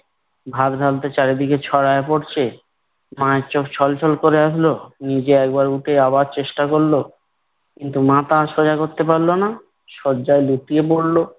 ভাত ঢালতে চারিদিকে ছড়াইয়া পড়ছে। মায়ের চোখ ছলছল করে আসল। নিজে একবার উঠে আবার চেষ্টা করল। কিন্তু মাথা আর সোজা করতে পারল না। শয্যায় লুটিয়ে পড়ল।